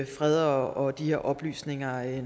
fred og de her oplysninger